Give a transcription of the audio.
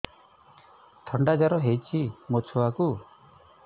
ଥଣ୍ଡା ଜର ହେଇଚି ମୋ ଛୁଆକୁ